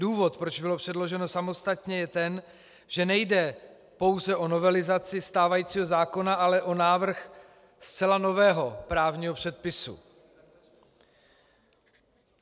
Důvod, proč bylo předloženo samostatně, je ten, že nejde pouze o novelizaci stávajícího zákona, ale o návrh zcela nového právního předpisu.